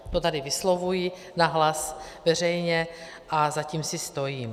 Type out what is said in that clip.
To tady vyslovuji nahlas, veřejně a za tím si stojím.